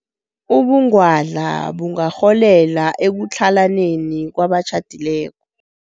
Ubungwadla bungarholela ekutlhalaneni kwabatjhadileko.